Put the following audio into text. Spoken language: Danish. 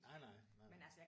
Nej nej. Nej nej